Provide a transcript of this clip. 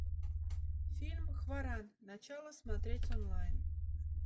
фильм хваран начало смотреть онлайн